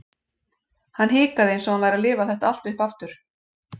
Hann hikaði eins og hann væri að lifa þetta allt upp aftur.